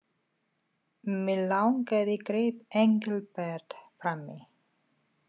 Mig langaði greip Engilbert fram í.